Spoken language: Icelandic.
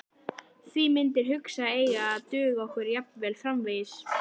Því myndir hugans eiga að duga okkur jafnvel framvegis.